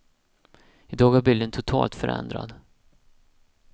I dag är bilden totalt förändrad.